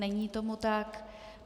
Není tomu tak.